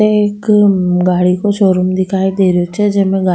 एक गाड़ी को सो रूम दिखाई दे रो छे जेमे --